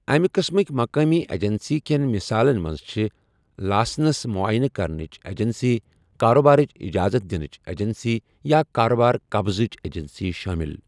أمہِ قٕسمٕکۍ مقٲمی ایجنسی کٮ۪ن مثالن منٛز چھِ لاسنس معٲینہٕ کرنٕچ ایجنسیہِ، کاروبارٕچ اجازت دِنٕچ ایجنسیہِ، یا کاروبٲری قبضٕچ ایجنسیہِ شٲمِل۔